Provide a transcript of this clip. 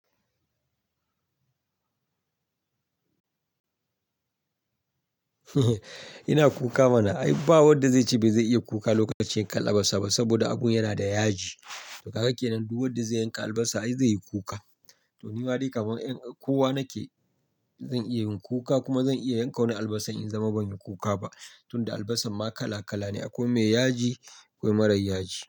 Ina kuka mana. Ai ba wanda zai ce ba zai iya yin kuka ba lokacin yankar albasa ba, saboda abun yana da yaji. Kaga kenan, duk wanda zai yanka albasa ai zai yi kuka. To nima daib kamar kowa nake, zan iya yin kuka kuma zan iya yanka wani albasar in kasance ban yi kuka ba. Tunda albasar ma kala- kala ne, akwai mai yaji akwai mara yaji.